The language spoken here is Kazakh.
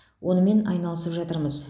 онымен айналысып жатырмыз